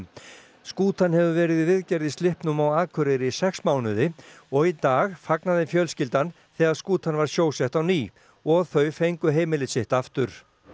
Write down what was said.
skútan hefur verið í viðgerð í slippnum á Akureyri í sex mánuði og í dag fagnaði fjölskyldan þegar skútan var sjósett á ný og þau fengu heimilið sitt aftur og